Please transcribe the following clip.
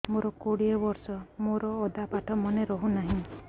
ମୋ କୋଡ଼ିଏ ବର୍ଷ ମୋର ଅଧା ପାଠ ମନେ ରହୁନାହିଁ